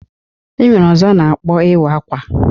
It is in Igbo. E nwere ọzọ a na-akpọ iwa akwa.